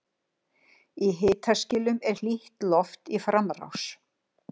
Í hitaskilum er hlýtt loft í framrás.